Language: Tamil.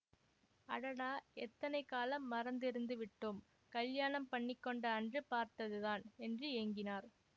அடடா எத்தனை காலம் மறந்து இருந்து விட்டோம் கல்யாணம் பண்ணிக்கொண்ட அன்று பார்த்ததுதான் என்று ஏங்கினார்